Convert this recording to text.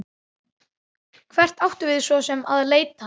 Hvert áttum við svo sem að leita?